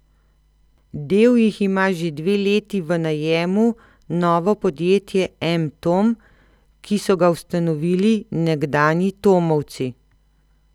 Del jih ima že dve leti v najemu novo podjetje M Tom, ki so ga ustanovili nekdanji tomovci.